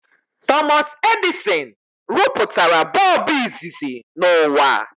Thomas Edison rụpụtara bọọbụ izizi n'ụwa